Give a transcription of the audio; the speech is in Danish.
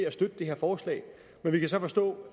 at støtte det her forslag men vi kan så forstå